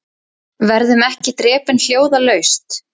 Verðum ekki drepin hljóðalaust